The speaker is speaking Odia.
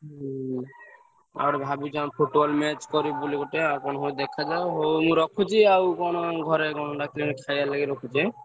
ହୁଁ ଆଉ ଗୋଟେ ଭାବିଛୁ ଆମେ Football match କରିବୁ ବୋଲି ଗୋଟେ ଆଉ କଣ ହଉଛି ଦେଖାଯାଉ ହଉ ମୁଁ ରଖୁଛି ଆଉ କଣ ଘରେ କଣ ଡାକିଲେଣି ଖାୟା ଲାଗି ରଖୁଛି ଏଁ?